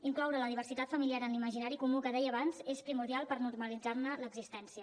incloure la diversitat familiar en l’imaginari comú que deia abans és primordial per normalitzar ne l’existència